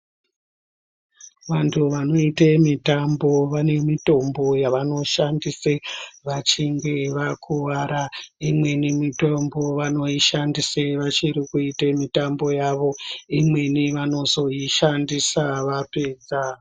Vantu vanoite mitambo vane mitombo yavanoshandise vachinge vakuwara. Imweni vanoshandise vachiri kuite mitambo yavo. Imweni vanozoishandisa vapedza.